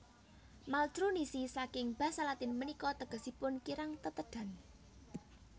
Maltrunisi saking basa Latin punika tegesipun kirang tetedhan